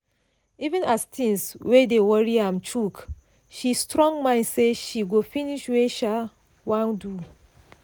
even as things wey dey worry am choke she strong mind say she go finish wey sha wan do.